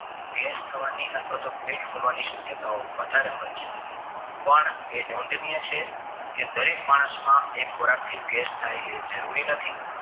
gas થવાની અથવા તો પેટ ફૂલવાની શક્યતાઓ વધારે હોય છે પણ એ નોંધનીય છે કે દરેક માનસમાં એક ખોરાક થી ગેસ થાય એ જરૂરી નથી